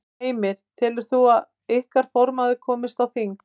Heimir: Og telur þú að ykkar formaður komist inn á þing?